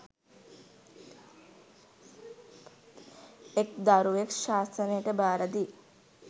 එක් දරුවෙක් ශාසනයට භාරදී